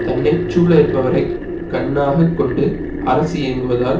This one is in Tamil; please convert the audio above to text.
தன்னை சூழ இருப்பவரை கண்ணாக கொண்டு அரசு இயங்குவதால்